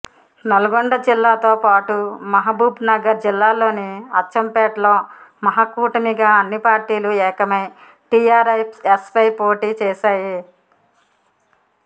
నల్లగొండ జిల్లాతో పాటు మహబూబ్నగర్ జిల్లాలోని అచ్చంపేటలో మహాకూటమిగా అన్ని పార్టీలు ఏకమై టిఆర్ఎస్పై పోటీ చేశాయి